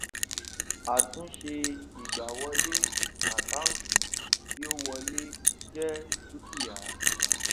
àtúnṣe ìgbàwọlé àkáǹtì tí ó wọlé jẹ dúkìá